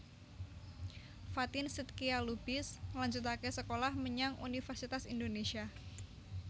Fatin Shidqia Lubis ngelanjutke sekolah menyang Universitas Indonesia